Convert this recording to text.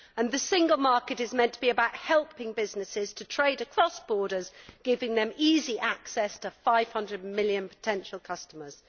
The single market is meant to be about helping businesses to trade across borders, giving them easy access to 500 million potential customers.